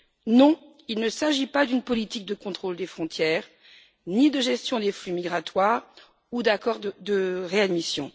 Non, il ne s'agit pas d'une politique de contrôle des frontières, ni de gestion des flux migratoires ou d'accords de réadmission.